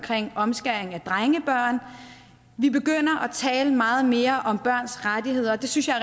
omskæring af drengebørn vi begynder at tale meget mere om børns rettigheder og det synes jeg